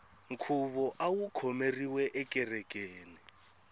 nkhuvo awu khomeriwe ekerekeni